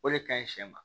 O de kaɲi siɲɛ ma